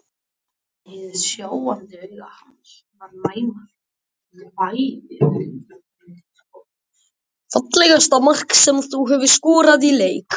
Fallegasta mark sem þú hefur skorað í leik?